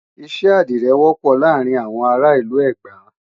iṣẹ́ àdirẹ wọ́pọ̀ láàrin àwọn ará ìlú Ẹ̀gbá